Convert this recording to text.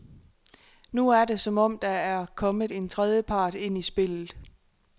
Nu er det, som om der er kommet en tredje part ind i spillet.